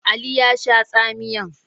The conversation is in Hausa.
Ali ya sha tsamiyan.